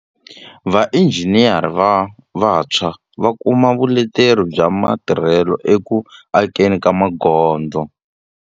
Vainjhiniyere va vantshwa va kuma vuleteri bya matirhelo eku akeni magondzo.